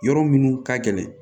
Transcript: Yɔrɔ minnu ka gɛlɛn